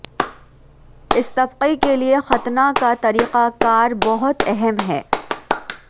اس طبقے کے لئے ختنہ کا طریقہ کار بہت اہم ہے